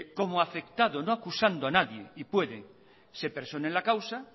como afectado no acusando a nadie y puede se persone en la causa